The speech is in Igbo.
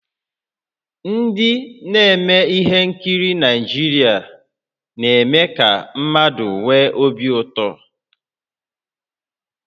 Ndị na-eme ihe nkiri Naịjirịa na-eme ka mmadụ nwee obi ụtọ